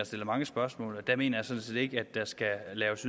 stillet mange spørgsmål og jeg mener sådan set ikke at der skal laves